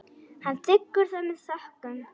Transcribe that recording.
Hann þiggur það með þökkum.